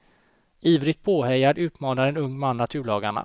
Ivrigt påhejad utmanar en ung man naturlagarna.